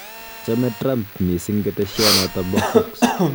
Chame Trump missing ketesyento bo Fox